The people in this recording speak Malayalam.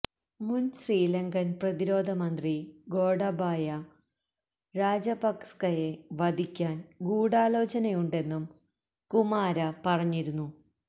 മുൻ ശ്രീലങ്കൻ പ്രതിരോധ മന്ത്രി ഗോടബായ രാജപക്സയെ വധിക്കാൻ ഗൂഢാലോചനയുണ്ടെന്നും കുമാര പറഞ്ഞിരുന്നു